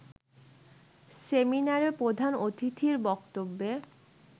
সেমিনারে প্রধান অতিথির বক্তব্যে